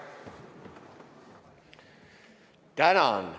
Tänan!